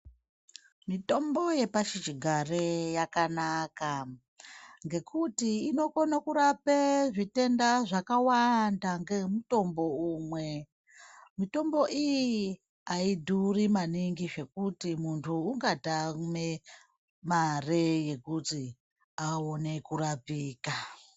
Mitombo yepashi chigare yakanaka ngekuti inokone kurape zvitenda zvakawanda ngemutombo umwe. Mitombo iyi haidhuri maningi zvekuti muntu ungatame mare yekuti aone kurapika.